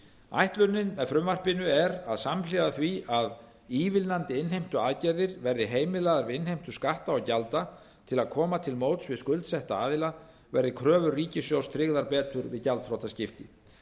ætlunin með frumvarpinu er að samhliða því að ívilnandi innheimtuaðgerðir verði heimilaðar við innheimtu skatta og gjalda til að koma til móts við skuldsetta aðila verði kröfur ríkissjóðs tryggðar betur við gjaldþrotaskipti